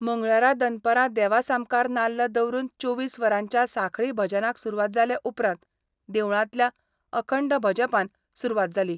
मंगळारा दनपारां देवा सामकार नाल्ल दवरून चोवीस वरांच्या सांखळी भजनाक सुरवात जाले उपरांत देवळांतल्या अखंड भजपान सुरवात जाली.